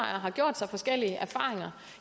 har gjort sig forskellige erfaringer